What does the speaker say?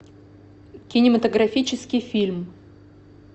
кинематографический фильм